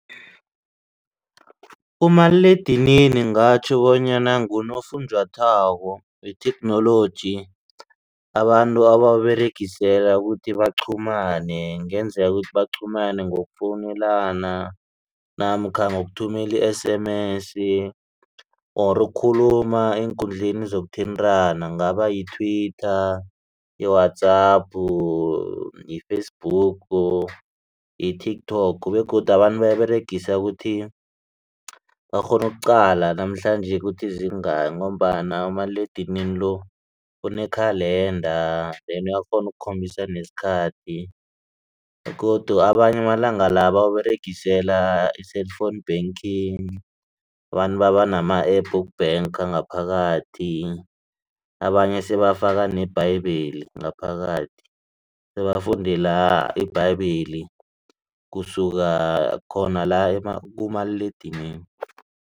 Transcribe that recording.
Umaliledinini ngatjho bonyana ngunofunjathwako wetheknoloji abantu abawukuberegisela ukuthi baqhumane ngenzeka ukuthi baqhumane ngokufowunelana namkha ngokuthumela i-S_M_S or ukukhuluma eenkundleni zokuthintana kungaba yi-Twitter, yi-WhatsApp, yi-Facebook, yi-TikTok begodu abantu bayiberegisa ukuthi bakghone ukuqala namhlanje ukuthi zingaki ngombana umaliledinini lo unekhalanda ende uyakghona ukukhombisa nesikhathi begodu abanye amalanga la bawuberegisela i-cellphone banking abantu baba nama-App woku-banker ngaphakathi abanye sebafika neBhayibheli ngaphakathi sebafundela iBhayibheli kusuka khona la kumaliledinini.